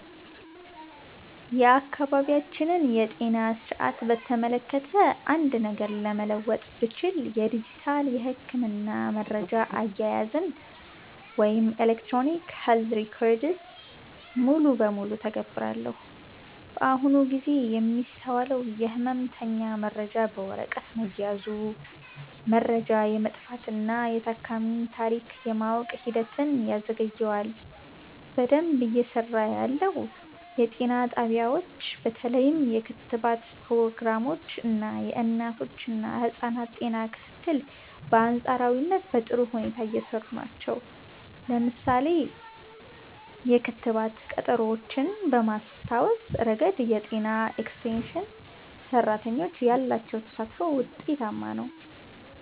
የአካባቢያችንን የጤና ሥርዓት በተመለከተ አንድ ነገር መለወጥ ብችል፣ የዲጂታል የሕክምና መረጃ አያያዝን (Electronic Health Records) ሙሉ በሙሉ እተገብራለሁ። በአሁኑ ጊዜ የሚስተዋለው የሕመምተኛ መረጃ በወረቀት መያዙ፣ መረጃ የመጥፋትና የታካሚን ታሪክ የማወቅ ሂደትን ያዘገየዋል። በደንብ እየሰራ ያለው፦ የጤና ጣቢያዎች በተለይም የክትባት ፕሮግራሞች እና የእናቶችና ህፃናት ጤና ክትትል በአንፃራዊነት በጥሩ ሁኔታ እየሰሩ ናቸው። ለምሳሌ፣ የክትባት ቀጠሮዎችን በማስታወስ ረገድ የጤና ኤክስቴንሽን ሰራተኞች ያላቸው ተሳትፎ ውጤታማ ነው።